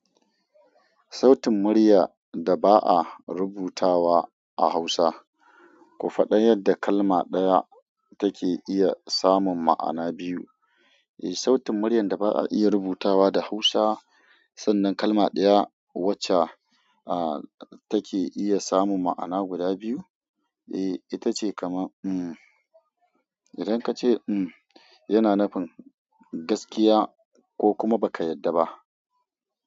Sautin murya da ba a rubutawa a Hausa, ku faɗa yadda kalma ɗaya take iya samun ma'ana biyu. Eh, sautin muryar da ba a iya rubutawa da Hausa, sannan kalma ɗaya wacca, ah, take iya samun ma'ana guda biyu. Eh, ita ce kamar, um, idan ka ce, um, yana nufin gaskiya ko kuma ba ka yarda ba.